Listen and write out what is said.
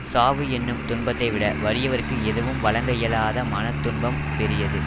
சாவு எனும் துன்பத்தைவிட வறியவர்க்கு எதுவும் வழங்க இயலாத மன துன்பம் பெரியது